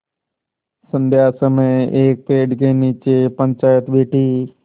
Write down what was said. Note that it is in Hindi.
संध्या समय एक पेड़ के नीचे पंचायत बैठी